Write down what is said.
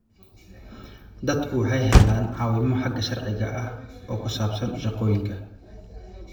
Dadku waxay helaan caawimo xagga sharciga ah oo ku saabsan shahaadooyinka.